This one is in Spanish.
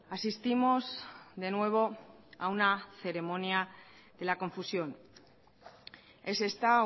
asistimos de nuevo a una ceremonia de la confusión es esta